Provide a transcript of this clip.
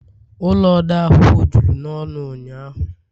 ụlọ odeakwụkwọ juru n'ọnụ ụnyahụ